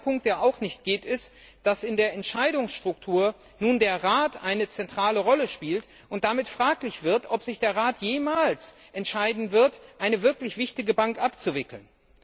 Ein zweiter Punkt, der auch nicht geht, ist, dass in der Entscheidungsstruktur nun der Rat eine zentrale Rolle spielt und damit fraglich wird, ob sich der Rat jemals entscheiden wird, eine wirklich wichtige Bank abzuwickeln.